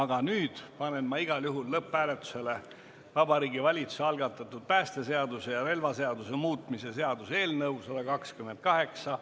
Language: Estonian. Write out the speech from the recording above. Aga nüüd panen ma igal juhul lõpphääletusele Vabariigi Valitsuse algatatud päästeseaduse ja relvaseaduse muutmise seaduse eelnõu 128.